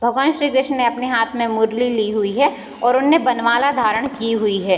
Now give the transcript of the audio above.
भगवान श्री कृष्ण ने अपने हाथ में मुरली ली हुई है और उन्होंने वर्णमाला धारण की हुई है।